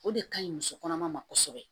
O de ka ɲi musokɔnɔma ma kosɛbɛ